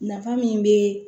Nafa min be